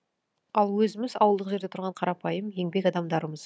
ал өзіміз ауылдық жерде тұрған қарапайым еңбек адамдарымыз